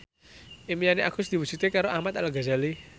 impine Agus diwujudke karo Ahmad Al Ghazali